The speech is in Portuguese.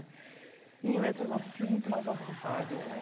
E, em letras não, estou sentindo muito mais a vontade é.